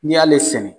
N'i y'ale sɛnɛ